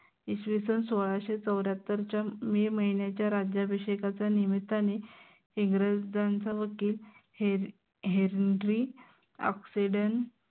इसवीसन सोळाशे चौऱ्यात्तरच्या मे महिन्याच्या राज्याभिषेकाच्या निमित्त्याने इंग्रजांचा वकील HenryOxenden